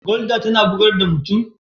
Gulder tana bugar da mutum?